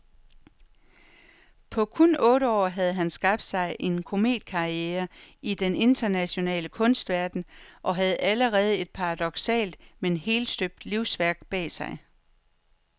På kun otte år havde han skabt sig en kometkarriere i den internationale kunstverden og havde allerede et paradoksalt men helstøbt livsværk bag sig.